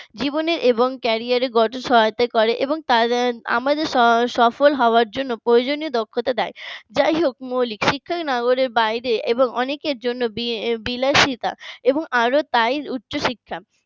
জীবনের এবং career র গঠনের সহায়তা করে, আমাদের সফল হওয়ার জন্য প্রয়োজনীয় দক্ষতা দেয় যাইহোক মৌলিক শিক্ষার নগরের বাইরে এবং অনেকের জন্য বিলাসিতা এবং এতটাই উচ্চশিক্ষা